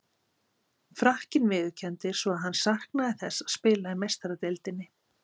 Frakkinn viðurkenndi svo að hann saknaði þess að spila í Meistaradeildinni.